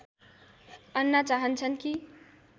अन्ना चाहन्छन् कि